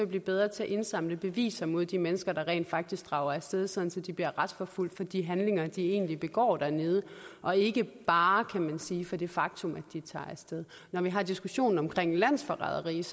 blive bedre til at indsamle beviser mod de mennesker der rent faktisk drager af sted sådan at de bliver retsforfulgt for de handlinger de egentlig begår dernede og ikke bare kan man sige for det faktum at de tager af sted når vi har diskussionen om landsforræderi er